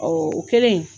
o kɛlen